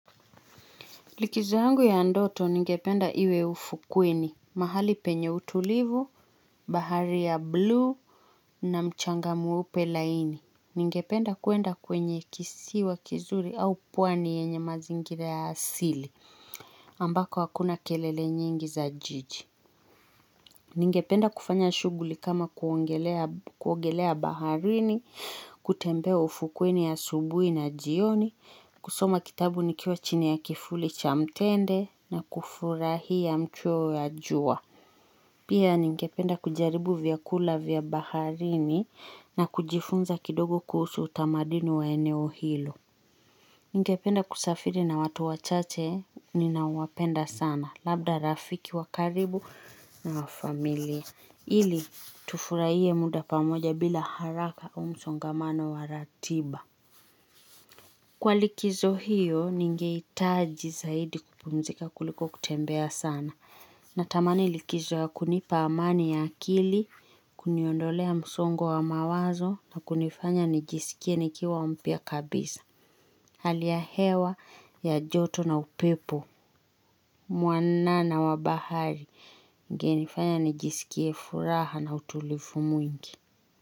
Likizo yangu ya ndoto ningependa iwe ufukweni, mahali penye utulivu, bahari ya blue, na mchanga mweupe laini. Ningependa kuenda kwenye kisiwa kizuri au pwani yenye mazingira asili, ambako hakuna kelele nyingi za jiji. Ningependa kufanya shughuli kama kuogelea baharini, kutembea ufukweni asubuhi na jioni, kusoma kitabu nikiwa chini ya kifuli cha mtende na kufurahia mchweo ya jua. Pia ningependa kujaribu vyakula vya baharini na kujifunza kidogo kuhusu utamaduni wa eneo hilo. Ningependa kusafiri na watu wachache ninawapenda sana labda rafiki wa karibu na wa familia. Ili tufurahie muda pamoja bila haraka au msongamano wa ratiba. Kwa likizo hiyo ningehitaji zaidi kupumzika kuliko kutembea sana. Natamani likizo ya kunipa amani ya kili, kuniondolea msongo wa mawazo, na kunifanya nijisikie nikiwa mpya kabisa. Hali ya hewa, ya joto na upepo. Mwanana wa bahari, ingenifanya nijisikie furaha na utulivu mwingi.